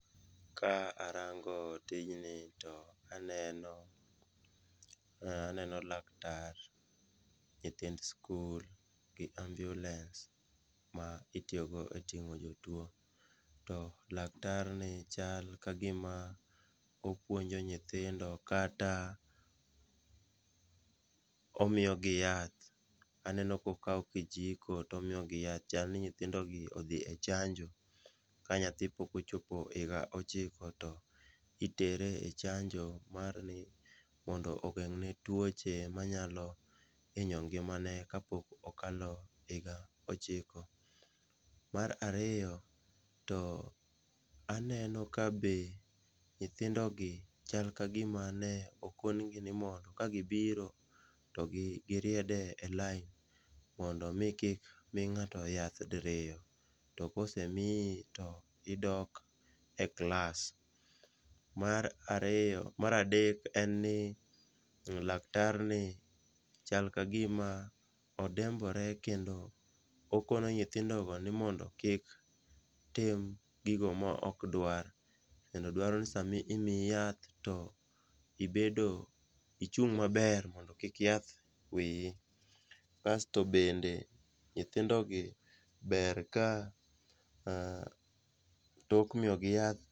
Ka arango tijni to aneno laktar ,nyithind skul gi ambulens ma itiyogo e ting'o jotuwo. To laktarni chal ka gima opuonjo nyithindo kata omiyogi yath, aneno kokawo kijiko to omiyogi yath. Chal ni nyithindogi odhi e chanjo, ka nyathi pok ochopo higa ochiko to itere e chanjo marni mondo ogeng'ne tuoche manyalo hinyo ngimane kapok okalo higa ochiko. Mar ariyo, to aneno ka be nyithindogi chal ka gima ne okonegi ni mondo kagibiro to giried e lain mondo omi kik mi ng'ato yath diriyo, to kosemiyi to idok e klas. Mar adek en ni laktarni chal ka gima odembore kendo okono nyithindogo ni mondo kik tim gigo ma ok dwar, kendo dwaro ni sami miyi yath to ibedo, ichung' maber mondo ki yath wiyi, kasto bende nyithindogi ber ka tok miyogi yath,